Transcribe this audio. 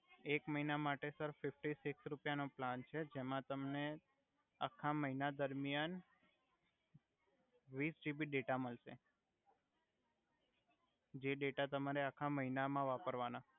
એક મહિના માટે સર ફિફટી સિકસ રુપિયા નો પ્લાન છે જેમા તમને આખા મહિના દરમિયાન વિસ જીબી ડેટા મલસે જે ડેટા તમારે આખા મહિના મા વાપરવાના